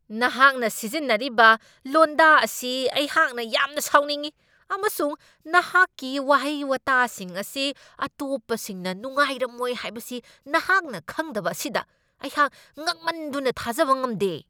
ꯅꯍꯥꯛꯅ ꯁꯤꯖꯤꯟꯅꯔꯤꯕ ꯂꯣꯟꯗꯥ ꯑꯁꯤ ꯑꯩꯍꯥꯛꯅ ꯌꯥꯝꯅ ꯁꯥꯎꯅꯤꯡꯢ ꯑꯃꯁꯨꯡ ꯅꯍꯥꯛꯀꯤ ꯋꯥꯍꯩ ꯋꯥꯇꯥꯁꯤꯡ ꯑꯁꯤ ꯑꯇꯣꯞꯄꯁꯤꯡꯅ ꯅꯨꯡꯉꯥꯏꯔꯝꯃꯣꯏ ꯍꯥꯢꯕꯁꯤ ꯅꯍꯥꯛꯅ ꯈꯪꯗꯕ ꯑꯁꯤꯗ ꯑꯩꯍꯥꯛ ꯉꯛꯃꯟꯗꯨꯅ ꯊꯥꯖꯕ ꯉꯝꯗꯦ꯫